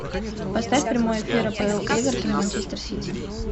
поставь прямой эфир апл эвертон и манчестер сити